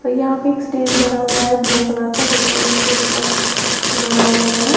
यहां पर एक स्टेज बना हुआ है ब्लू कलर का जिसमें यह क्रिसमस मना रहे हैं।